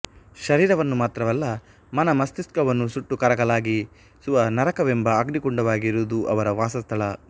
ಶರೀರವನ್ನು ಮಾತ್ರವಲ್ಲ ಮನ ಮಸ್ತಿಷ್ಕವನ್ನೂ ಸುಟ್ಟು ಕರಕಲಾಗಿ ಸುವ ನರಕ ವೆಂಬ ಅಗ್ನಿಕುಂಡವಾಗಿರುವುದು ಅವರ ವಾಸಸ್ಥಳ